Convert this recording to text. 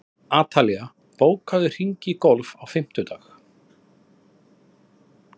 Atalía, bókaðu hring í golf á fimmtudaginn.